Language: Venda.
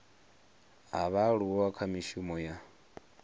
ha vhaaluwa kha mishumo ya